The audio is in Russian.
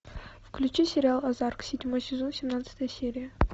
включи сериал озарк седьмой сезон семнадцатая серия